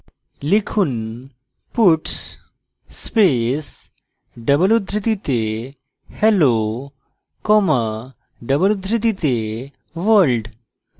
লিখুন puts space double উদ্ধৃতিতে hello comma double উদ্ধৃতিতে world